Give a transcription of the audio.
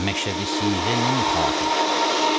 Məşhədə siğə nəmikhahi.